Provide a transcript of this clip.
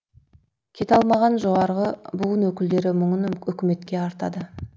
кете алмаған жоғарғы буын өкілдері мұңын үкіметке артады